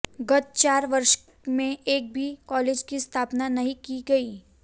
गत चार वर्ष में एक भी कॉलेज की स्थापना नहीं की गई